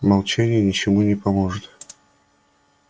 молчание ничему не поможет